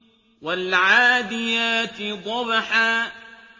وَالْعَادِيَاتِ ضَبْحًا